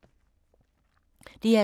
DR P2